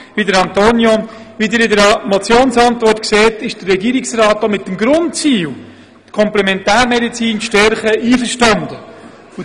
Wie Sie in der Motionsantwort sehen, ist der Regierungsrat auch mit dem Grundziel, die Komplementärmedizin zu stärken, einverstanden.